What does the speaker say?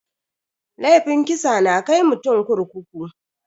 Laifin kisa na kai mutum kurkuku.